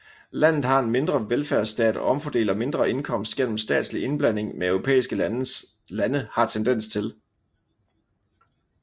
Landet har en mindre velfærdsstat og omfordeler mindre indkomst gennem statslig indblanding end europæiske lande har tendens til